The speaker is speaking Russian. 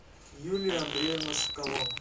юлию андреевну соколову